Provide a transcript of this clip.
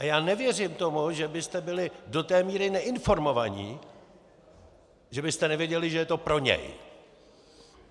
A já nevěřím tomu, že byste byli do té míry neinformovaní, že byste nevěděli, že je to pro něj.